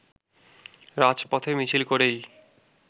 রাজপথে মিছিল করেই